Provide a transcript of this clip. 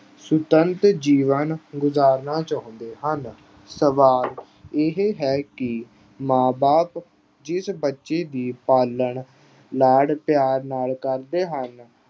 ਸੁਤੰਤਰ ਜੀਵਨ ਗੁਜ਼ਾਰਨਾ ਚਾਹੁੰਦੇ ਹਨ। ਸਵਾਲ ਇਹ ਹੈ ਕਿ ਮਾਂ ਬਾਪ ਜਿਸ ਬੱਚੇ ਦੀ ਪਾਲਣ ਲਾਡ ਪਿਆਰ ਨਾਲ ਕਰਦੇ ਹਨ